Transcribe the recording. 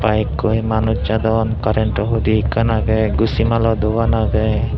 byk koi manuj jadon karento hudi ekkan agey gusi malo dogan agey.